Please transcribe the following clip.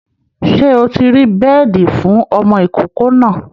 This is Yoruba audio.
Ṣé o ti rí beedi fún ọmọ ìkókó náà?